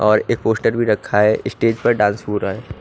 और एक पोस्टर भी रखा है स्टेज पर डांस भी हो रहा है।